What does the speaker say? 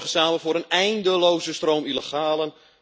Ze zorgen samen voor een eindeloze stroom illegalen.